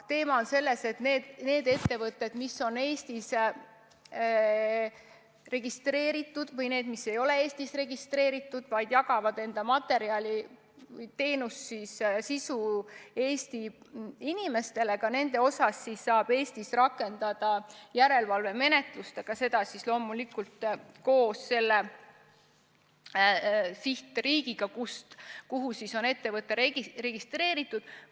Teema on selles, et nii need ettevõtted, mis on Eestis registreeritud, kui ka need, mis ei ole Eestis registreeritud, aga jagavad enda materjali või teenust või sisu Eesti inimestele, nende suhtes saab Eesti rakendada järelevalvemenetlust, aga seda loomulikult koos selle riigiga, kus ettevõte on registreeritud.